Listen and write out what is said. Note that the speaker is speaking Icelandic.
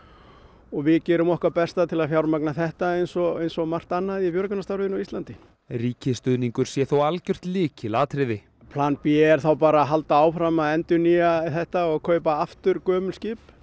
og við gerum okkar besta til að fjármagna þetta eins og eins og margt annað í björgunarstarfinu á Íslandi ríkisstuðningur sé þó algjört lykilatriði plan b er þá bara að halda áfram að endurnýja þetta og kaupa aftur gömul skip